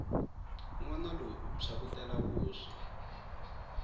nwana loyi u phyakutela vuswa